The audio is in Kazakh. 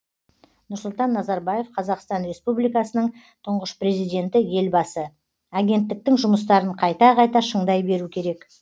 нұрсұлтан назарбаев қазақстан республикасының тұңғыш президенті елбасы агенттіктің жұмыстарын қайта қайта шыңдай беру керек